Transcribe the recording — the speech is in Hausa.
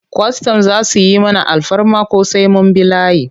Kwastam za su yi mana alfarma ko sai mun bi layi?